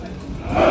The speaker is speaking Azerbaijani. Sağ!